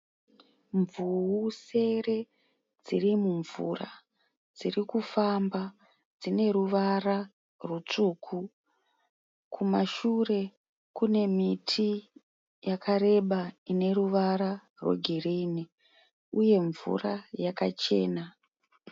Mvuwu sere dzirimumvura dzirikufamba dzine ruvara rutsvuku. Kumashure kune miti yakareba ineruvara rwegirinhi. Uye mvura yakachena.